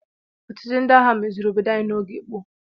Ọchịchị ndị agha meziri obodo anyi n'oge gboo.